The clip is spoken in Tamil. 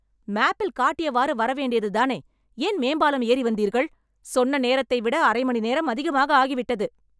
மேப்பில் காட்டியவாறு வர வேண்டியதுதானே ஏன் மேம்பாலம் ஏறி வந்தீர்கள்? சொன்ன நேரத்தை விட அரைமணி நேரம் அதிகமாக ஆகிவிட்டது